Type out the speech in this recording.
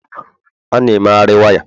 a na emegharị waya